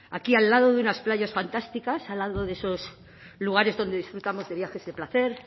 aquí al lado de unas playas fantásticas al lado de esos lugares donde disfrutamos de viajes de placer